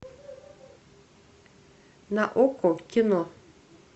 на окко кино